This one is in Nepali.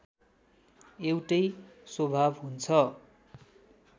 एउटै स्वभाव हुन्छ